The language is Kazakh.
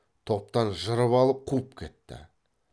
топтан жырып алып қуып кетті